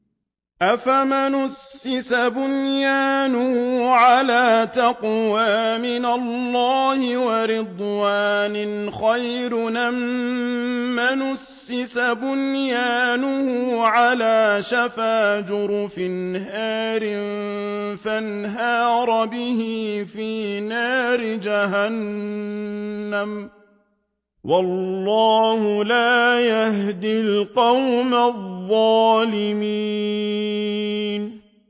أَفَمَنْ أَسَّسَ بُنْيَانَهُ عَلَىٰ تَقْوَىٰ مِنَ اللَّهِ وَرِضْوَانٍ خَيْرٌ أَم مَّنْ أَسَّسَ بُنْيَانَهُ عَلَىٰ شَفَا جُرُفٍ هَارٍ فَانْهَارَ بِهِ فِي نَارِ جَهَنَّمَ ۗ وَاللَّهُ لَا يَهْدِي الْقَوْمَ الظَّالِمِينَ